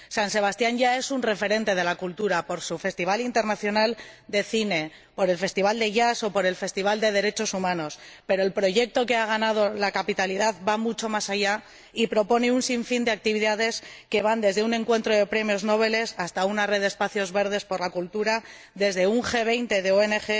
San Sebastián ya es un referente de la cultura por su festival internacional de cine, por el festival de jazz o por el festival de derechos humanos, pero el proyecto que ha ganado la capitalidad va mucho más allá y propone un sinfín de actividades que van desde un encuentro de premios Nobel hasta una red de espacios verdes por la cultura, desde un G 20 de ONG